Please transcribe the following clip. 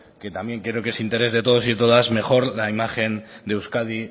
que también creo que es interés de todos y todas mejor la imagen de euskadi